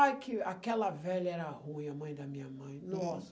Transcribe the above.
Ai, que aquela velha era ruim, a mãe da minha mãe, nossa.